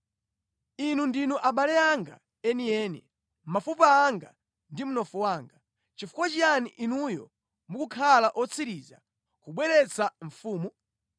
Inu ndinu abale anga enieni, mafupa anga ndi mnofu wanga. Nʼchifukwa chiyani inuyo mukukhala otsiriza kubweretsa mfumu?’